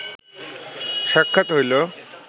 সাক্ষাৎ হইল